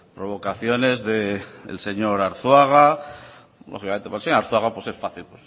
provocaciones del señor arzuaga lógicamente para el señor arzuaga es fácil